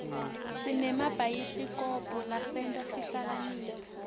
sinemabhayisikobho lasenta sihlakaniphe